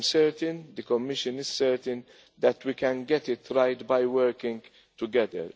I am certain, and the Commission is certain, that we can get it right by working together.